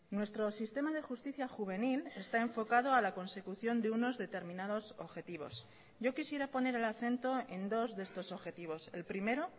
nuestro sistema de justicia juvenil está enfocado a la consecución de unos determinados objetivos yo quisiera poner el acento en dos de estos objetivos el primero